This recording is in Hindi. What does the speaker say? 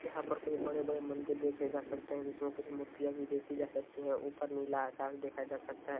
यहाँ पर कोई बड़े-बड़े मंदिर देखे जा सकते हैं जिसमें कुछ मूर्तियां भी देखी जा सकती है ऊपर नीला आकाश देखा जा सकता है।